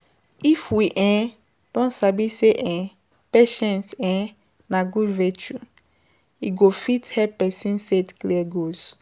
IF we um don sabi sey um patiience um na good virtue, e go fit help person set clear goals